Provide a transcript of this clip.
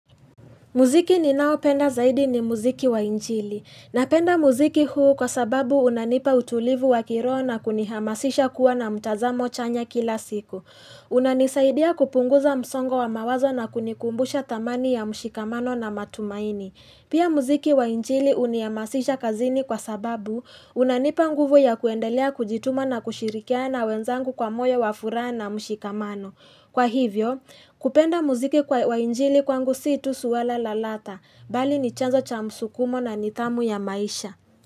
Muziki ninaopenda zaidi ni muziki wa injili. Napenda muziki huu kwa sababu unanipa utulivu wa kiroho na kunihamasisha kuwa na mtazamo chanya kila siku. Unanisaidia kupunguza msongo wa mawazo na kunikumbusha thamani ya mshikamano na matumaini. Pia muziki wa njili unihamasisha kazini kwa sababu unanipa nguvu ya kuendelea kujituma na kushirikiana na wenzangu kwa moyo wa furaha na mshikamano. Kwa hivyo kupenda muziki wa injili kwangu si tu suala la ladha bali ni chanzo cha msukumo na nidhamu ya maisha.